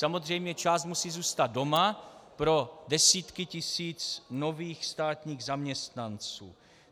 Samozřejmě část musí zůstat doma pro desítky tisíc nových státních zaměstnanců.